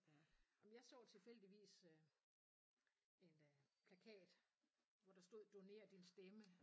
Jamen jeg så tilfældigvis øh en øh plakat hvor der stod doner din stemme